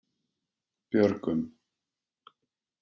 Björgum